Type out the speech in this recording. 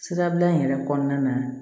Sirabila in yɛrɛ kɔnɔna na